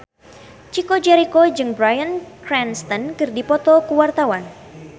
Chico Jericho jeung Bryan Cranston keur dipoto ku wartawan